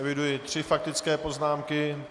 Eviduji tři faktické poznámky.